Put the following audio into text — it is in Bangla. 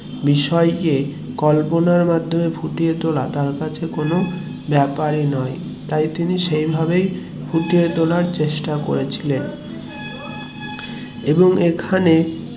বিষয়েকে কল্পনার মাধ্যমে ফুটিয়ে তোলা তার কাছে কোনো ব্যাপারই না, তাই তিনি সেইভাবে ফুটিয়ে তোলার চেষ্টা করেছিলেন এবং এখানে